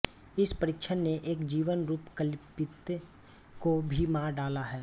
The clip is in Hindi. इस परीक्षण ने एक जीवन रूप कल्पित को भी मार डाला है